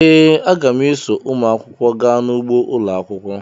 ee, aga m eso ụmụ akwụkwọ gaa n’ugbo ụlọ akwụkwọ